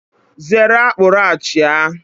Zere akpuruachia!